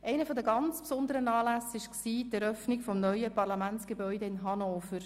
Einer der ganz besonderen Anlässe war die Eröffnung des neuen Parlamentsgebäudes in Hannover.